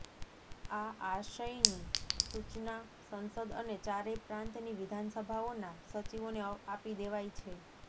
આ આશયની સૂચના સંસદ અને ચારેય પ્રાંતની વિધાનસભાઓના સચિવોને આપી દેવાઈ છે